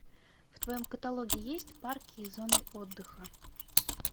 в твоем каталоге есть парки и зоны отдыха